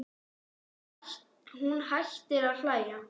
Hún hættir að hlæja.